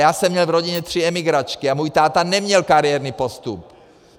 Já jsem měl v rodině tři emigračky a můj táta neměl kariérní postup.